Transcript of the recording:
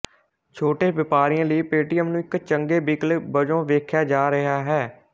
ਛੋਟੇ ਵਪਾਰੀਆਂ ਲਈ ਪੇਟੀਐੱਮ ਨੂੰ ਇੱਕ ਚੰਗੇ ਵਿਕਲਪ ਵੱਜੋਂ ਵੇਖਿਆ ਜਾ ਰਿਹਾ ਹੈ